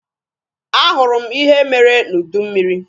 A hụrụ m ihe mere n'udu mmịrị.